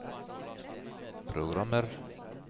programmer